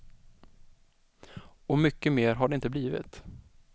Och mycket mer har det inte blivit.